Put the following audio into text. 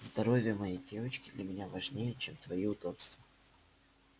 здоровье моей девочки для меня важнее чем твои удобства